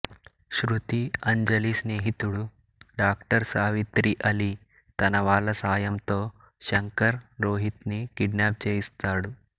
శృతి అంజలి స్నేహితుడు డాక్టర్ సావిత్రి ఆలీ తన వాళ్ళ సహాయంతో శంకర్ రోహిత్ ని కిడ్నాప్ చేయిస్తాడు